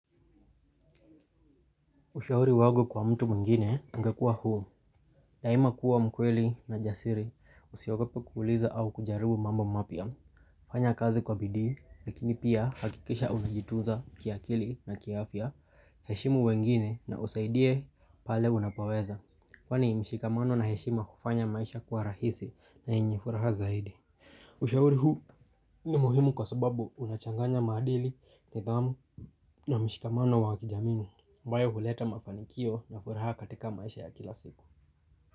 Ushahuri wangu kwa mtu muingine ungekua huu. Daima kuwa mkweli na jasiri usiogope kuhuliza au kujaribu mambo mapia. Fanya kazi kwa bidhi lakini pia hakikisha unajitunza kiakili na kiafya heshimu wengine na usaidie pale unapoweza. Kwani mshikamano na heshima ufanya maisha kuwa rahisi na yenye furaha zaidi. Ushahuri huu ni muhimu kwa sababu unachanganya madili, nithamu na mshikamano wakijamini. Ambayo huleta mafanikio na furaha katika maisha ya kila siku.